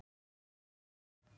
Að heiman?